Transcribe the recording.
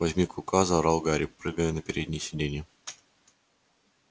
возьми клыка заорал гарри прыгая на переднее сиденье